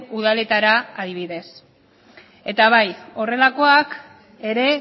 udaletara adibidez eta bai horrelakoak ere